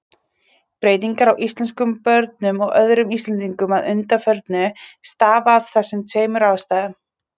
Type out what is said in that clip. Breytingar á íslenskum börnum og öðrum Íslendingum að undanförnu stafa af þessum tveimur ástæðum.